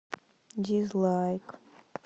дизлайк